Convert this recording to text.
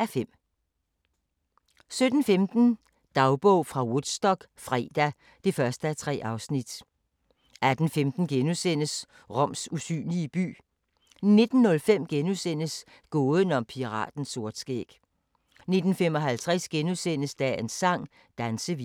(5:5) 17:15: Dagbog fra Woodstock - fredag (1:3) 18:15: Roms usynlige by * 19:05: Gåden om piraten Sortskæg * 19:55: Dagens sang: Dansevisen * 20:00: Mysterium: En ny menneskeart? 20:55: Gåden om den hellige lanse 21:45: Apokalypse: Stalin (2:3) 22:35: Apokalypse: Stalin (3:3)